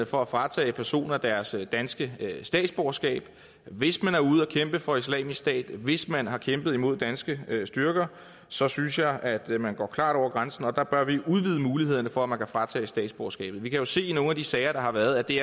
for at fratage personer deres danske statsborgerskab hvis man er ude at kæmpe for islamisk stat hvis man har kæmpet imod danske styrker så synes jeg at man klart går over grænsen der bør vi udvide mulighederne for at man kan fratages statsborgerskabet vi kan jo se i nogle af de sager der har været at det